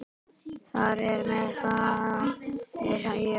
Þar á meðal er ég.